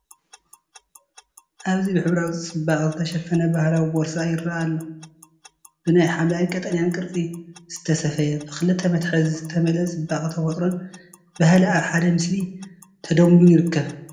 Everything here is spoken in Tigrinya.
ኣብዚ ብሕብራዊ ጽባቐ ዝተሸፈነ ባህላዊ ቦርሳ ይረአ ኣሎ። ብናይ ሐምላይን ቀጠልያን ቅርጺ ዝተሰፍየ። ብኽልተ መትሓዚ ዝተመልአ ጽባቐ ተፈጥሮን ባህልን ኣብ ሓደ ምስሊ ተደሚሩ ይርከብ።